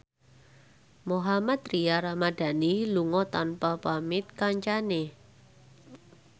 Mohammad Tria Ramadhani lunga tanpa pamit kancane